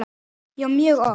Já, mjög oft.